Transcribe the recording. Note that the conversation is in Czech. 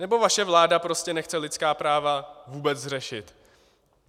Nebo vaše vláda prostě nechce lidská práva vůbec řešit?